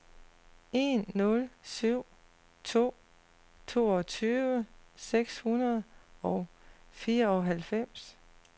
en nul syv to toogtyve seks hundrede og fireoghalvfems